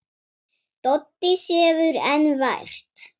Doddi sefur enn vært.